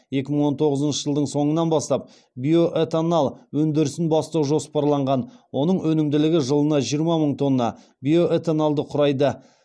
екі мың он тоғызыншы жылдың соңынан бастап биоэтонал өндірісін бастау жоспарланған оның өнімділігі жылына жиырма мың тонна биоэтоналды құрайды